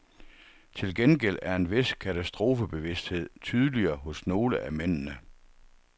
Til gengæld er en vis katastrofebevidsthed tydeligere hos nogle af mændene.